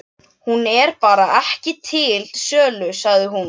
Hún er bara ekki til sölu, sagði hún.